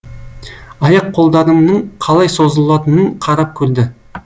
аяқ қолдарымның қалай созылатынын қарап көрді